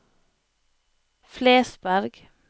Flesberg